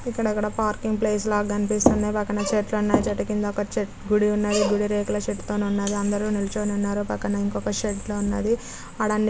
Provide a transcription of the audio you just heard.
ఇక్కడక్కడ parking place లా గనిపిస్తుంది. పక్కన చెట్లున్నాయి. చెట్టు కింద ఒక చ--గుడి ఉన్నది గిద రేకుల షెడ్ తో ఉన్నది. అందరూ నిలోచని ఉన్నారు .పక్కన ఇంకొక షెడ్ లా ఉన్నది. అడాన్ని--